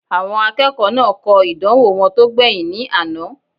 Àwọn akẹ́kọ̀ọ́ náà kọ ìdánwò wọn tó gbẹ̀yìn ní àná